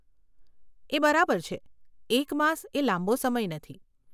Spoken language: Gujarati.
એ બરાબર છે, એક માસ એ લાંબો સમય નથી.